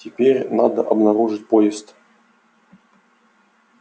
теперь надо обнаружить поезд